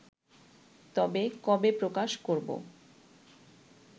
তবে কবে প্রকাশ করব